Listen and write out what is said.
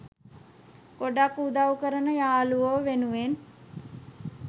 ගොඩක් උදවු කරන යාළුවො වෙනුවෙන්